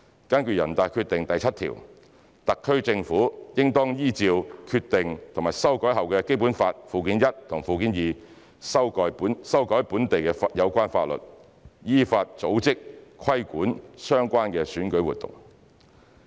根據《決定》第七條，特區政府應當依照《決定》和修改後的《基本法》附件一和附件二，修改本地有關法律，依法組織、規管相關選舉活動。